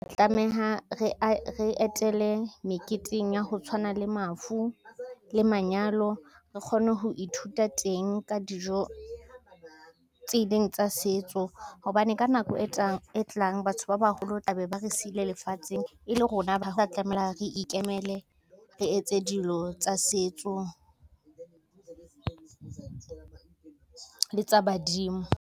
Tlameha re etele meketeng ya ho tshwana le mafu le manyalo. Re kgone ho ithuta teng ka dijo, tse e leng tsa setso hobane ka nako e tlang batho ba baholo ba tlabe ba re sile lefatsheng e le rona ba ba tlamelang re ikemele, re etse dilo tsa setso, le tsa badimo.